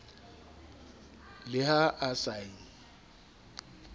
le ha a sa e